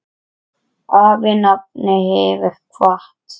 Afi nafni hefur kvatt.